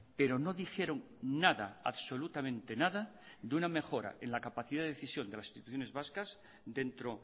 pero no dijeron nada absolutamente nada de una mejora en la capacidad de decisión de las instituciones vascas dentro